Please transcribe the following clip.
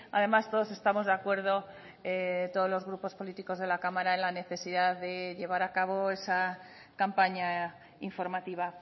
además todos estamos de acuerdo todos los grupos políticos de la cámara en la necesidad de llevar a cabo esa campaña informativa